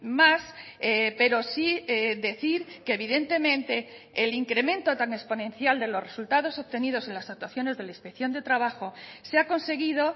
más pero sí decir que evidentemente el incremento tan exponencial de los resultados obtenidos en las actuaciones de la inspección de trabajo se ha conseguido